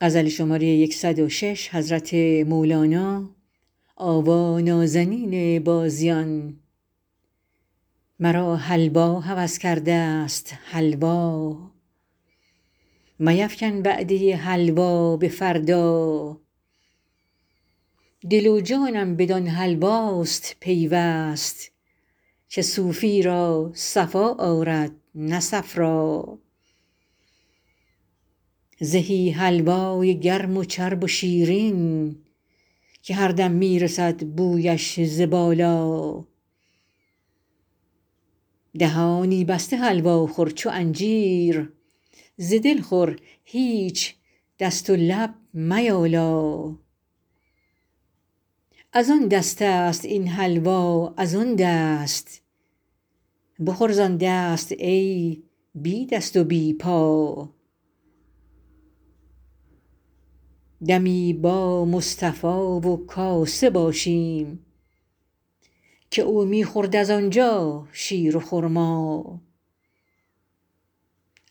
مرا حلوا هوس کردست حلوا میفکن وعده حلوا به فردا دل و جانم بدان حلواست پیوست که صوفی را صفا آرد نه صفرا زهی حلوای گرم و چرب و شیرین که هر دم می رسد بویش ز بالا دهانی بسته حلوا خور چو انجیر ز دل خور هیچ دست و لب میالا از آن دستست این حلوا از آن دست بخور زان دست ای بی دست و بی پا دمی با مصطفا و کاسه باشیم که او می خورد از آن جا شیر و خرما